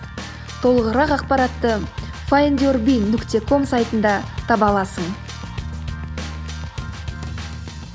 толығырақ ақпаратты файндюрби нүкте ком сайтында таба аласың